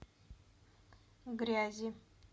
грязи